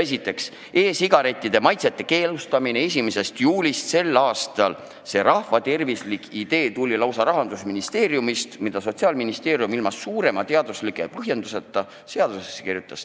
Esiteks, e-sigarettide maitsete keelustamine 1. juulist sel aastal – see rahvatervislik idee tuli Rahandusministeeriumist ja Sotsiaalministeerium kirjutas selle ilma erilise teadusliku põhjenduseta seadusesse.